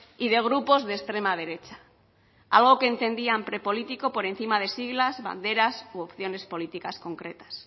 y de grupos de extrema derecha algo que entendían pre político por encima de siglas banderas u opciones políticas concretas